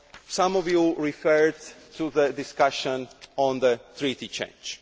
be. Some of you referred to the discussion on Treaty change.